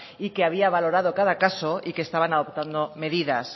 y que había valorado caso y que estaban adoptando medidas